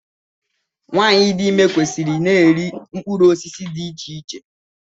Nwaanyị dị ime kwesịrị ị na-eri mkpụrụ osisi dị iche iche.